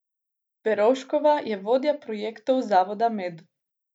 Verovškova je vodja projektov Zavoda Med.